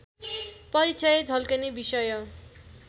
परिचय झल्कने विषय